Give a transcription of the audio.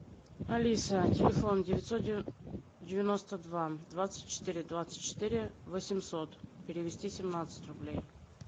алиса телефон девятьсот девяносто два двадцать четыре двадцать четыре восемьсот перевести семнадцать рублей